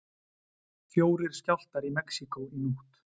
Fjórir skjálftar í Mexíkó í nótt